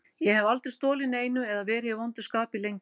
Ég hef aldrei stolið neinu eða verið í vondu skapi lengi.